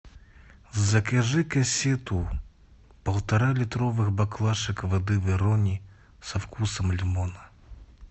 закажи кассету полтора литровых баклашек воды верони со вкусом лимона